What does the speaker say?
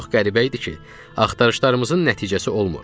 Çox qəribə idi ki, axtarışlarımızın nəticəsi olmur.